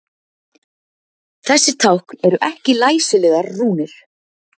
Þessi tákn eru ekki læsilegar rúnir.